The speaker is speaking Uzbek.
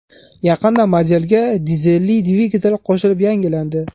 Yaqinda modelga dizelli dvigatel qo‘shilib yangilandi.